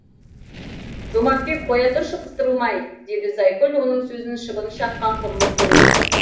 жомартбек қоя тұршы қыстырылмай деді зайкүл оның сөзің шыбын шаққан құрлы көрмей